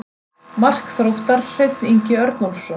Mark Þróttar: Hreinn Ingi Örnólfsson.